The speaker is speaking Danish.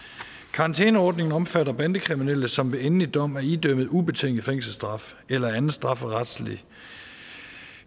karantæneordningen omfatter bandekriminelle som ved endelig dom er idømt en ubetinget fængselsstraf eller anden strafferetlig